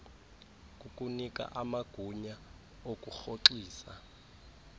kukunika amagunya okurhoxisa